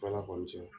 Ala kɔni cɛ